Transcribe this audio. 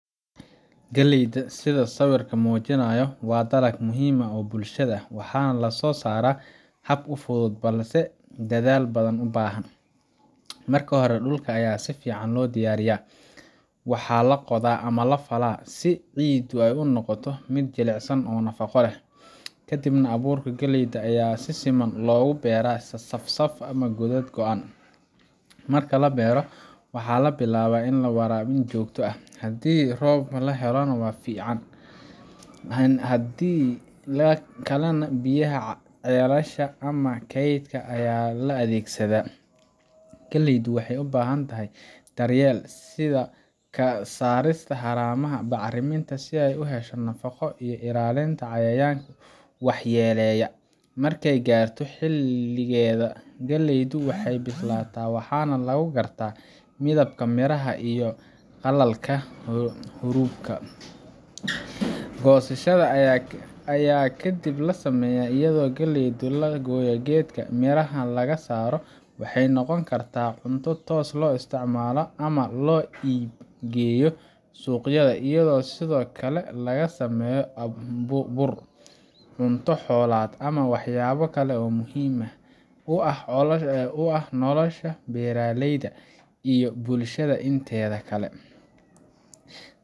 Galleyda, sida sawirku muujinayo, waa dalag muhiim u ah bulshada, waxaana loo soo saaraa hab fudud balse dadaal badan u baahan. Marka hore, dhulka ayaa si fiican loo diyaariyaa – waxaa la qodaa ama la falaa, si ciiddu u noqoto mid jilicsan oo nafaqo leh. Kadib, abuurka galleyda ayaa si siman loogu beeraa safaf ama godad go’an. Marka la beero, waxaa bilaabma waraabin joogto ah – haddii roob la helo waa fiican, haddii kalena biyaha ceelasha ama kaydka ayaa la adeegsadaa. Galleydu waxay u baahan tahay daryeel – sida ka saarista haramaha, bacriminta si ay u hesho nafaqo, iyo ilaalinta cayayaanka waxyeelaya. Markay gaarto xilligeeda, galleydu way bislaataa, waxaana lagu gartaa midabka miraha iyo qalalka haruubkeeda. Goosashada ayaa kadib la sameeyaa iyadoo galleyda laga gooyo geedka, mirahana laga saaro. Waxay noqon kartaa cunto toos loo isticmaalo ama loo iib geeyo suuqyada, iyadoo sidoo kale laga sameeyo bur, cunto xoolaad, ama waxyaabo kale oo muhiim u ah nolosha beeraleyda iyo bulshada inteeda kale.